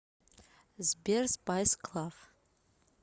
сбер спайс клав